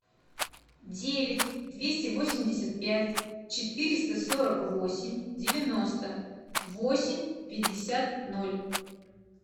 девять двести восемьдесят пять четыреста сорок восемь девяносто восемь пятьдесят ноль